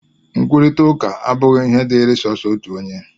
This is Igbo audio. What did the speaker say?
Nkwurịta ụka abụghị ihe dịịrị sọọsọ otu onye